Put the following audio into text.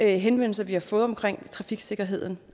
henvendelser vi har fået om trafiksikkerheden